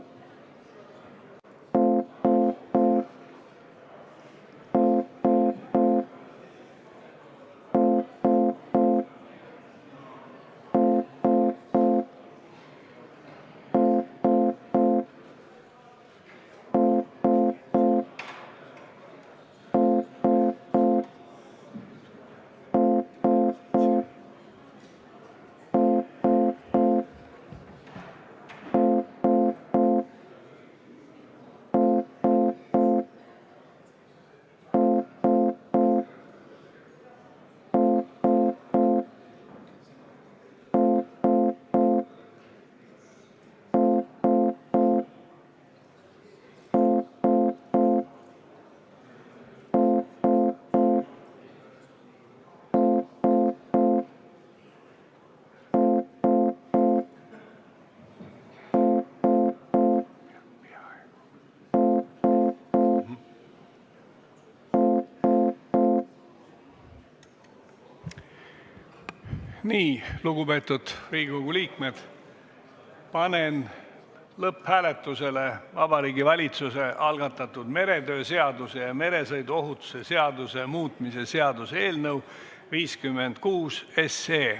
Lugupeetud Riigikogu liikmed, panen lõpphääletusele Vabariigi Valitsuse algatatud meretöö seaduse ja meresõiduohutuse seaduse muutmise seaduse eelnõu 56.